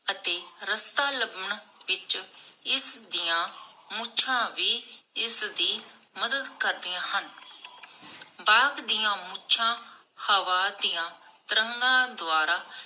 ਅਤੇ ਰਸਤਾ ਲੱਭਣ ਵਿਚ ਇਸਦੀਆਂ ਮੁਛਾਂ ਵੀ ਇਸਦੀ ਮਦਦ ਕਰਦਿਆਂ ਹਨ। ਬਾਘ ਦੀਆ ਮੁਛਾਂ ਹਵਾ ਦੀਆਂ ਤਰੰਗਾਂ ਦੁਆਰਾ